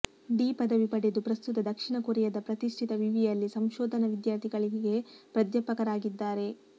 D ಪದವಿ ಪಡೆದು ಪ್ರಸ್ತುತ ದಕ್ಷಿಣ ಕೊರಿಯಾದ ಪ್ರತಿಷ್ಠಿತ ವಿವಿಯಲ್ಲಿ ಸಂಶೋಧನಾ ವಿದ್ಯಾರ್ಥಿಗಳಿಗೆ ಪ್ರಾಧ್ಯಾಪಕರಾಗಿದ್ದಾರೆ